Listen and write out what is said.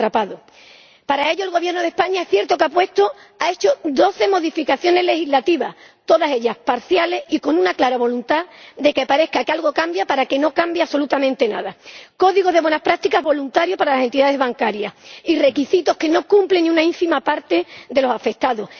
Para ello, es cierto que el Gobierno de España ha introducido doce modificaciones legislativas, pero todas ellas parciales y con una clara voluntad de que parezca que algo cambia para que no cambie absolutamente nada Código de buenas prácticas voluntario para las entidades bancarias y requisitos que no cumplen ni una ínfima parte de los afectados.